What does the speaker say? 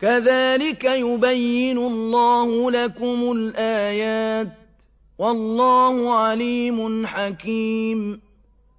كَذَٰلِكَ يُبَيِّنُ اللَّهُ لَكُمُ الْآيَاتِ ۗ وَاللَّهُ عَلِيمٌ حَكِيمٌ